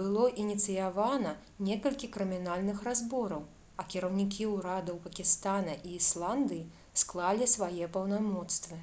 было ініцыявана некалькі крымінальных разбораў а кіраўнікі ўрадаў пакістана і ісландыі склалі свае паўнамоцтвы